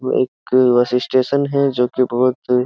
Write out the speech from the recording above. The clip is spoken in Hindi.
एक बस स्टेशन है जो कि बहुत --